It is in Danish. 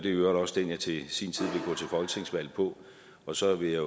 i øvrigt også den jeg til sin tid vil folketingsvalg på og så vil jeg